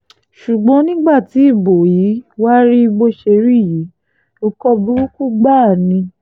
ṣùgbọ́n nígbà tí ibo yí wàá rí bó ṣe rí yìí nǹkan burúkú gbáà ni